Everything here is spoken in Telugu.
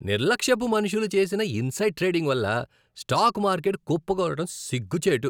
నిర్లక్ష్యపు మనుషులు చేసిన ఇన్సైడ్ ట్రేడింగ్ వల్ల స్టాక్ మార్కెట్ కుప్పకూలడం సిగ్గుచేటు.